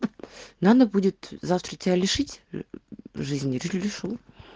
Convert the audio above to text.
надо будет завтра тебя лишить жизни лишу